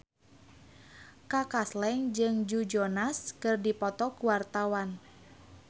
Kaka Slank jeung Joe Jonas keur dipoto ku wartawan